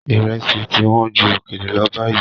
Ìrẹsì ti wọ́n ju òkèlè lọ báyìí.